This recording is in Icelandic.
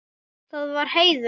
Það var heiður.